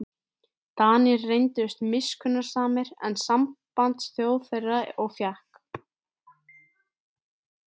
Danir reyndust miskunnsamari en sambandsþjóð þeirra og fékk